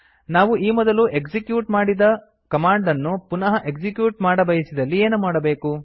ನಾವು ಈ ಮೊದಲು ಎಕ್ಸಿಕ್ಯೂಟ್ ಮಾಡಿದ ಕಮಾಂಡ್ ಅನ್ನು ಪುನಃ ಎಕ್ಸಿಕ್ಯೂಟ್ ಮಾಡಬಯಸಿದಲ್ಲಿ ಏನು ಮಾಡಬೇಕು